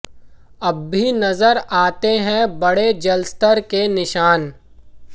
अब भी नज़र आते हैं बढ़े जलस्तर के निशान